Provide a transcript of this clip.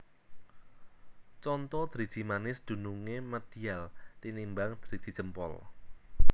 Conto Driji manis dunungé medial tinimbang driji jempol